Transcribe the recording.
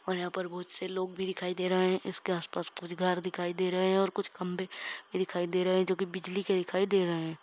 और यहाँ पर बहोत से लोग भी दिखाई दे रहे है इसके आस-पास कुछ घर दिखाई दे रहे हैं और कुछ खंभे भी दिखाई दे रहे हैं जो कि बिजली के दिखाई दे रहे हैं।